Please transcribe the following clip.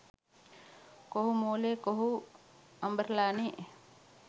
කොහු මෝලෙ කොහු අඹරලනෙ.